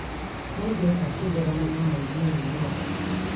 Nĩngeka kegeranio mweri ũyũ ũroka